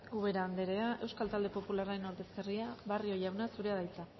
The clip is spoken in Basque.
ubera andrea euskal talde popularren ordezkaria barrio jauna zurea da hitza